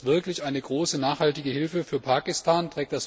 Ist das wirklich eine große nachhaltige Hilfe für Pakistan?